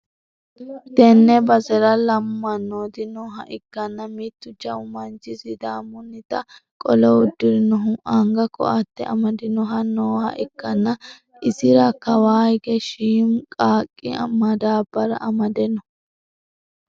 tenne basera lamu mannooti nooha ikkanna, mittu jawu manchi sidaamunnita qolo uddirinohu anga ko'atte amadinohu noooha ikkanna, isira kawa hige shiimu qaaqqi madaabbara amade no.